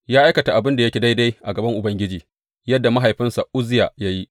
Ya aikata abin da yake daidai a gaban Ubangiji yadda mahaifinsa Uzziya ya yi.